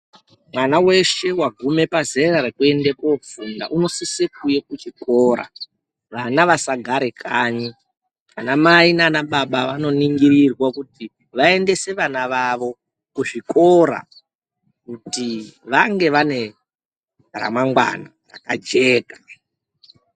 Mwana weshe wagume pazera rekuendabkofunda unosise kuuya kuchikora vana vasagare kanyi , anamai nana baba vanoningirirwa kuti vaendese vana vavo kuzvikora kuti vange vane ramangwana rakajeka.